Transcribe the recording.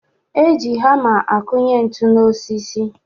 E ji hama akụnye ntu n'osisi